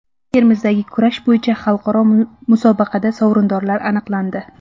Termizdagi kurash bo‘yicha xalqaro musobaqada sovrindorlar aniqlandi.